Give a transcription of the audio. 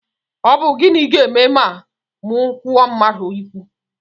Ọ bụ gịnị ga-eme ma m kwuo mmadụ ikwu?